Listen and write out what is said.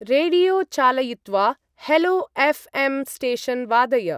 Radio चालयित्वा hello FM station वादय।